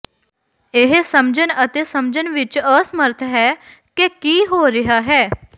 ਇਹ ਸਮਝਣ ਅਤੇ ਸਮਝਣ ਵਿੱਚ ਅਸਮਰਥ ਹੈ ਕਿ ਕੀ ਹੋ ਰਿਹਾ ਹੈ